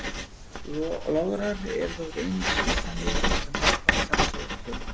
Lograr eru þó ekki einungis nytsamlegir til þess að margfalda saman stórar tölur.